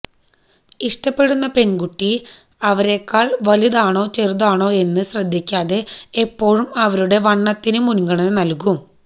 ഇഷ്ടപ്പെടുന്ന പെണ്കുട്ടി അവരേക്കാള് വലുതാണോ ചെറുതാണോ എന്ന് ശ്രദ്ധിക്കാതെ എപ്പോഴും അവരുടെ വണ്ണത്തിന് മുന്ഗണന നല്കും